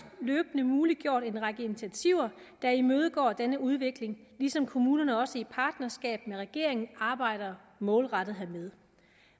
løbende muliggjort en række initiativer der imødegår denne udvikling ligesom kommunerne også i partnerskab med regeringen arbejder målrettet hermed